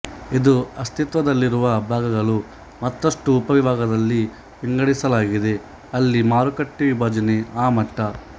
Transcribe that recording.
ಇದು ಅಸ್ತಿತ್ವದಲ್ಲಿರುವ ಭಾಗಗಳು ಮತ್ತಷ್ಟು ಉಪ ವಿಭಾಗದಲ್ಲಿ ವಿಂಗಡಿಸಲಾಗಿದೆ ಅಲ್ಲಿ ಮಾರುಕಟ್ಟೆ ವಿಭಜನೆ ಆ ಮಟ್ಟ